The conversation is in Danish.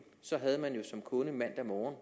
havde man jo som kunde mandag morgen